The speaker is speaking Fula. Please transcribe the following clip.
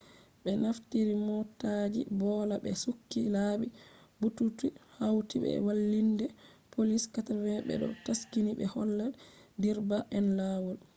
be naftiri motaaji boola be sukki laabi buutuutu hauti be walliinde poliis 80 be do taski ɓe holla direba en laawol